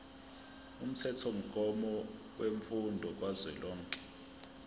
umthethomgomo wemfundo kazwelonke